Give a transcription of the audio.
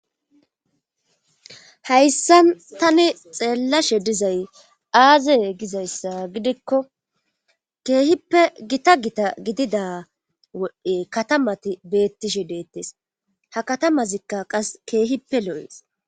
hayssa tani xeellashe dizay aaze gizayssa gidikko keehippe gita gita gidida wode katamati beettishe deettes ha katamazikka qas keehippe lo7ees